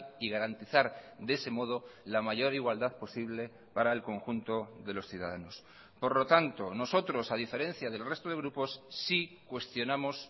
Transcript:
y garantizar de ese modo la mayor igualdad posible para el conjunto de los ciudadanos por lo tanto nosotros a diferencia del resto de grupos sí cuestionamos